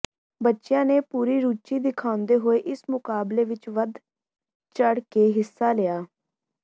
ਬੱਚਿਆਂ ਨੇ ਪੂਰੀ ਰੁਚੀ ਦਿਖਾਉਦੇ ਹੋਏ ਇਸ ਮੁਕਾਬਲੇ ਵਿੱਚ ਵੱਧ ਚੜ੍ਹ ਕੇ ਹਿੱਸਾ ਲਿਆ